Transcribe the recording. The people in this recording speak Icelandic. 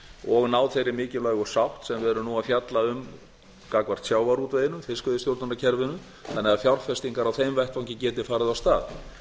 og ná þeirri mikilvægu sátt sem við erum nú að fjalla um gagnvart sjávarútveginum fiskveiðistjórnarkerfinu þannig að fjárfestingar á þeim vettvangi geti farið af stað það